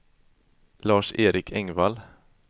Lars-Erik Engvall